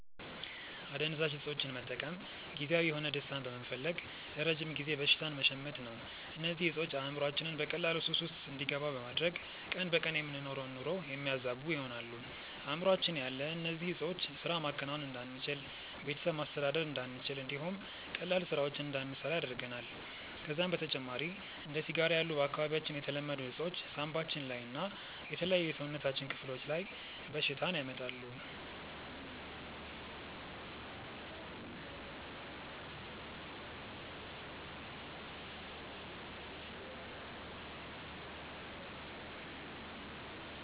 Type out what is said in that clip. አደንዛዥ እፆችን መጠቀም ጊዜያዊ የሆነ ደስታን በመፈለግ ለረጅም ጊዜ በሽታን መሸመት ነው። እነዚህ እፆች አእምሮአችንን በቀላሉ ሱስ ውስጥ እንዲገባ በማድረግ ቀን በቀን የምንኖረውን ኑሮ የሚያዛቡ ይሆናሉ። አእምሮአችን ያለ እነዚህ ዕጾች ስራ ማከናወን እንዳንችል፣ ቤተሰብ ማስተዳደር እንዳንችል እንዲሁም ቀላል ስራዎችን እንዳንሰራ ያደርገናል። ከዛም በተጨማሪ እንደ ሲጋራ ያሉ በአካባቢያችን የተለመዱ እፆች ሳንባችን ላይ እና የተለያዩ የሰውነታችን ክፍሎች ላይ በሽታን ያመጣሉ።